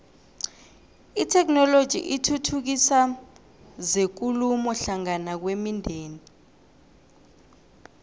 itheknoloji ithuthukisa zekulumo hlangana kwemindeni